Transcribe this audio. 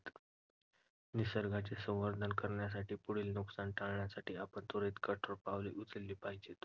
निसर्गाचे संवर्धन करण्यासाठी, पुढील नुकसान टाळण्यासाठी आपण त्वरित कठोर पावले उचलली पाहिजेत.